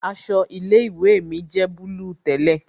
Aṣọ ilé ìwé mi jẹ́ búlúù tẹ́lẹ̀